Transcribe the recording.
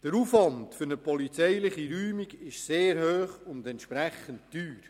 Der Aufwand für eine polizeiliche Räumung ist sehr hoch und entsprechend teuer.